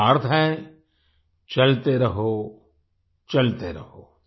इसका अर्थ है चलते रहो चलते रहो